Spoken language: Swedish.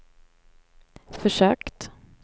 försökt